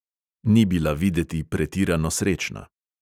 Ni bila videti pretirano srečna.